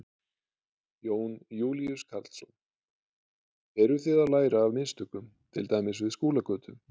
Jón Júlíus Karlsson: Eru þið að læra af mistökum til dæmis við Skúlagötu?